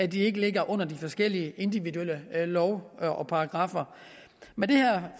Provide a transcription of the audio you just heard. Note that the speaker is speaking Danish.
de ikke ligger under de forskellige individuelle love og paragraffer med det her